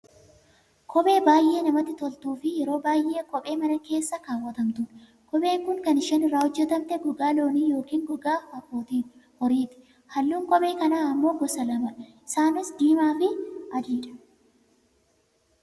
Kophee baayyee namatti toltuufi yeroo baayyee kophee mana keessa kaawwatamudha. Kopheen kun kan isheen irraa hojjatamte gogaa loonii yookaan gogaa hotiiti. Halluun kophee kanaa ammoo gosa lamadha . Isaanis diimaafi adiidha.